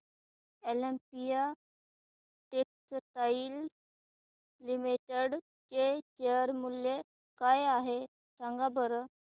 Olympia textiles limited चे share मूल्य काय आहे सांगा बरं